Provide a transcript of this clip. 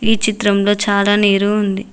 ఈ చిత్రంలో చాలా నీరు ఉంది.